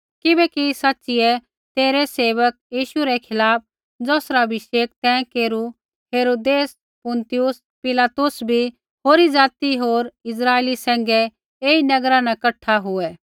किबैकि सैच़िऐ तेरै सेवक यीशु रै खिलाफ़ ज़ौसरा अभिषेक तैं केरू हेरोदेस पुन्तियुस पिलातुस बी होरी ज़ाति होर इस्राइली सैंघै ऐई नगरा न कठा हुऐ